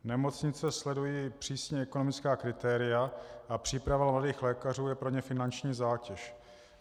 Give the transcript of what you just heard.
Nemocnice sledují přísně ekonomická kritéria a příprava nových lékařů je pro ně finanční zátěž.